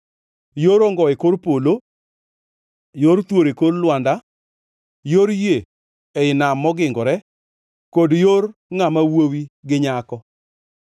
Yor ongo e kor polo, yor thuol e kor lwanda, yor yie ei nam mogingore kod yor ngʼama wuowi gi nyako.